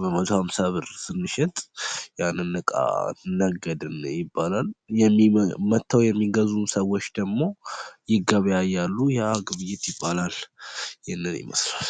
በመቶ ሃምሳ ብር ብንሸጥ ያንን ዕቃ ነገድን ይባላል:: መጥተው የሚገዙን ሰዎች ደግሞ ይገበያያሉ ኡአ ግብይት ይባላል :: ይሄንን ይመስላል::